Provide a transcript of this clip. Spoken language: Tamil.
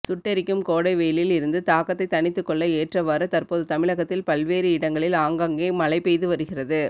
சுட்டெரிக்கும் கோடை வெயிலில் இருந்து தாக்கத்தை தணித்துக்கொள்ள ஏற்றவாறு தற்போது தமிழகத்தில் பல்வேறு இடங்களில் ஆங்காங்கே மழை பெய்து வருகிறது